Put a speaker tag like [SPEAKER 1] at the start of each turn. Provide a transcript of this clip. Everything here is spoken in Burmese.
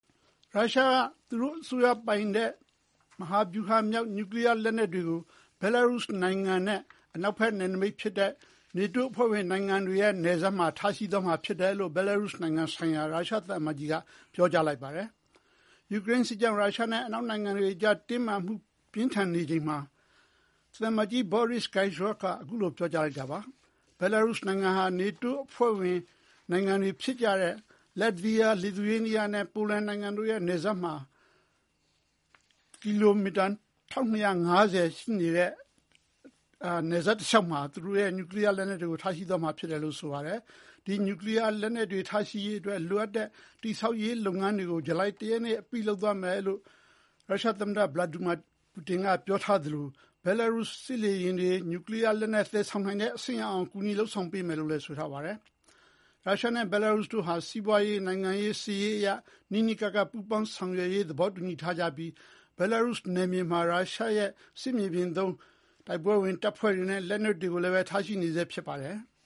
[SPEAKER 1] ရုရှားက သူတို့အစိုးရပိုင်တဲ့မဟာဗျူဟာမြောက် နျူကလီယားလက်နက်တွေကို ဘဲလားရုစ်နိုင်ငံနဲ့အနောက်ဘက်နယ်နိမိတ်ဖြစ်တဲ့ နေတိုးအဖွဲ့ဝင်နိုင်ငံတွေရဲ့နယ်စပ်မှာ ထားရှိသွားမှာဖြစ်တယ်လို့ ဘဲလားရုစ်နိုင်ငံဆိုင်ရာ ရုရှားသံအမတ်ကြီးက ပြောကြားလိုက်ပါတယ်။ ယူကရိန်းစစ်ကြောင့် ရုရှားနဲ့အနောက်နိုင်ငံတွေကြား တင်းမာမှုပြင်းထန်နေချိန်မှာ သံအမတ်ကြီး Boris Gryzlov က အခုလို ပြောကြားလိုက်တာပါ။ ဘဲလားရုစ်နိုင်ငံဟာ နေတိုးအဖွဲ့ဝင်နိုင်ငံတွေဖြစ်ကြတဲ့ လတ်ဗီးယား၊ လစ်သူရေးနီးယားနဲ့ ပိုလန်နိုင်ငံတို့ရဲ့နယ်စပ်မှာ ကီလိုမီတာ ၁,၂၅၀ ရှိနေတဲ့ နယ်စပ်တလျှောက်မှာ သူတို့ရဲ့နျူကလီယားလက်နက်တွေကို ထားရှိသွားမှာဖြစ်တယ်လို့ ဆိုပါတယ်။ ဒီနျူကလီယားလက်နက်တွေထားရှိရေးအတွက် လိုအပ်တဲ့တည်ဆောက်ရေးလုပ်ငန်းတွေကို ဇူလိုင်တရက်နေ့အပြီးလုပ်သွားမယ်လို့ ရုရှားသမ္မတ ဗလာတီမာ ပူတင်ကပြောထားသလို ဘဲလားရုစ်စစ်လေယာဉ်တွေ နျူကလီယားလက်နက်သယ်ဆောင်နိုင်တဲ့အဆင့်အရောက်အောင် ကူညီလုပ်ဆောင်ပေးမယ်လို့လည်း ဆိုပါတယ်။ ရုရှားနဲ့ဘဲလားရုစ်တို့ဟာ စီးပွါးရေး၊ နိုင်ငံရေး၊ စစ်ရေးအရ နီးနီးကပ်ကပ် ပူးပေါင်းဆောင်ရွက်ရေးသဘောတူညီထားကြပြီး ဘဲလားရုစ်နယ်မြေမှာ ရုရှားရဲ့စစ်မြေပြင်သုံး တိုက်ပွဲဝင်တပ်ဖွဲ့တွေနဲ့ လက်နက်တွေကိုလည်းပဲ ထားရှိနေဆဲဖြစ်ပါတယ်။